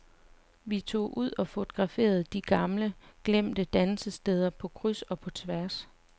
Vi tog ud og fotograferede de gamle, glemte dansesteder på kryds og på tværs.